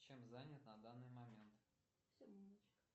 чем занят на данный момент